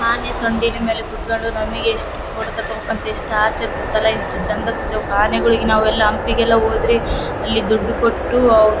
ಆನೇ ಸೊಂಡಿನ ಮೇಲೆ ಕುತ್ಕೊಂಡು ನಮಗೆ ಎಷ್ಟು ಫೋಟೋ ತೋಕೋಬೇಕಂತ ಎಷ್ಟ ಆಸೆ ಇರ್ತ್ತತಲ್ಲಾ ಎಷ್ಟು ಚಂದ್ ಕೂತೆವು ಆನೆಗುಳಿಗ್ ನಾವು ನಾವೆಲ್ಲಾ ಹಂಪಿಗೆಲ್ಲಾ ಹೋದ್ರೆ ಅಲ್ಲಿ ದುಡ್ಡು ಕೊಟ್ಟು ಔ --